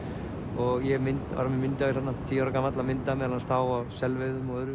og ég var með myndavél þarna tíu ára gamall að mynda meðal annars þá á selveiðum og öðru